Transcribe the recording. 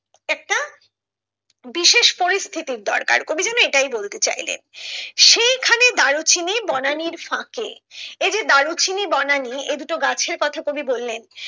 বিশেষ পরিস্থিতির দরকার কবি যেন এটাই বলতে চাইলেন সেইখানে দারুচিনি বনানীর ফাঁকে এই যে দারুচিনি বনানী এই দুটো গাছের কথা কবি বললেন